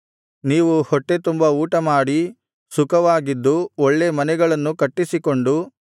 ನೀವು ಹೊಟ್ಟೆತುಂಬಾ ಊಟಮಾಡಿ ಸುಖವಾಗಿದ್ದು ಒಳ್ಳೇ ಮನೆಗಳನ್ನು ಕಟ್ಟಿಸಿಕೊಂಡು